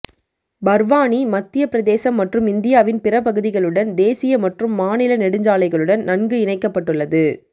பர்வானி மத்திய பிரதேசம் மற்றும் இந்தியாவின் பிற பகுதிகளுடன் தேசிய மற்றும் மாநில நெடுஞ்சாலைகளுடன் நன்கு இணைக்கப்பட்டுள்ளது